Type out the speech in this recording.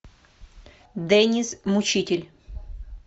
деннис мучитель